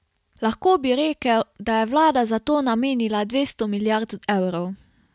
Lahko bi rekel, da je vlada za to namenila dvesto milijard evrov.